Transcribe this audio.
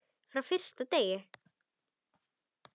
Frá fyrsta degi.